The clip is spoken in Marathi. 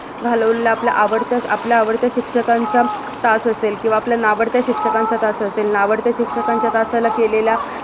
घालवलेला आपल्या आवडत्या आपल्या आवडत्या शिक्षकांचा तास असेल किवा आपल्या नावडत्या शिक्षकांचा तास असेल नावडत्या शिक्षकांच्या तासाला केलेल्या